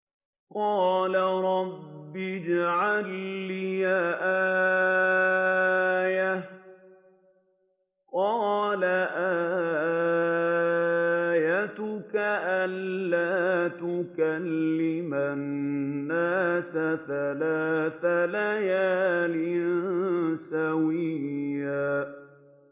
قَالَ رَبِّ اجْعَل لِّي آيَةً ۚ قَالَ آيَتُكَ أَلَّا تُكَلِّمَ النَّاسَ ثَلَاثَ لَيَالٍ سَوِيًّا